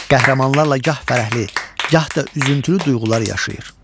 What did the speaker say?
Qəhrəmanlarla gah fərəhli, gah da üzüntülü duyğular yaşayır.